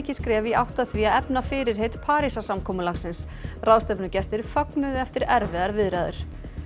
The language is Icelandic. skref í átt að því að efna fyrirheit Parísarsamkomulagsins ráðstefnugestir fögnuðu eftir erfiðar viðræður